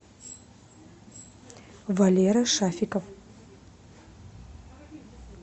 валера шафиков